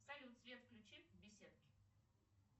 салют свет включи в беседке